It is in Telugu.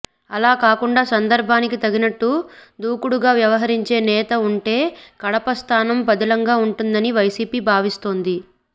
అలా కాకుండా సందర్బానికి తగ్గట్లు దూకుడుగా వ్యవహరించే నేత ఉంటే కడప స్థానం పదిలంగా ఉంటుందని వైసీపీ భావిస్తోంది